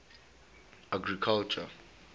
agriculture